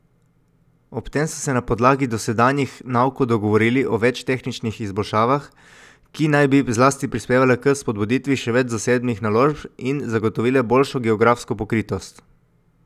Ob tem so se na podlagi dosedanjih naukov dogovorili o več tehničnih izboljšavah, ki naj bi zlasti prispevale k spodbuditvi še več zasebnih naložb in zagotovile boljšo geografsko pokritost.